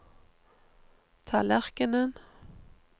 tallerkenen